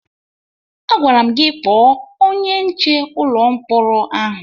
Agwara m gị kpọọ onye nche ụlọ mkpọrọ ahụ!